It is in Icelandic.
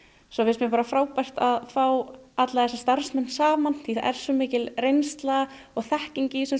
svo finnst mér bara frábært að fá alla þessa starfsmenn saman því það er svo mikil reynsla og þekking í þessum